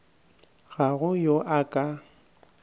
ga go yo a ka